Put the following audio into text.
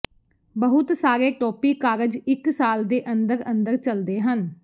ਬਹੁਤ ਸਾਰੇ ਟੋਪੀ ਕਾਰਜ ਇੱਕ ਸਾਲ ਦੇ ਅੰਦਰ ਅੰਦਰ ਚਲਦੇ ਹਨ